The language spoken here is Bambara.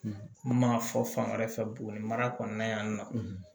N m'a fɔ fan wɛrɛ fɛ buguni mara kɔnɔna yan nɔ